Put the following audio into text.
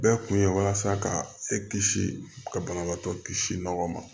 Bɛɛ kun ye walasa ka e kisi ka banabaatɔ kisi nɔgɔ ma